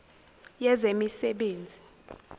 yezemisebenzi